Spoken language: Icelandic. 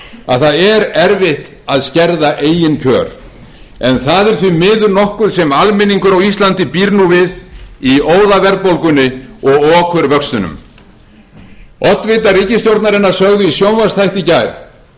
að það er erfitt að skerða eigin kjör en það er því miður nokkuð sem almenningur á íslandi býr nú við í óðaverðbólgunni og okurvöxtunum oddvitar ríkisstjórnarinnar sögðu í sjónvarpsþætti í gær